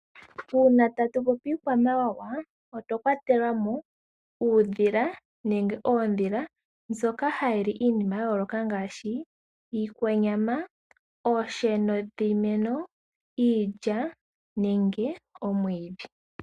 Uuna tatu popi iikwamawawa otwa kwatela mo uudhila nenge oondhila ndhoka hadhi li iinima ya yooloka ngaashi iikwanyama, oosheno dhiimeno, iilya nenge omwidhi.